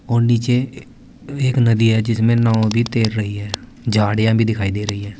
और नीचे एक नदी है जिसमें नांव भी तैर रही है झाड़ियां भी दिखाई दे रही है।